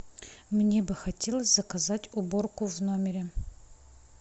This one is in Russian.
мне бы хотелось заказать уборку в номере